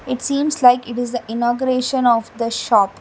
It seems like it is a inauguration of the shop.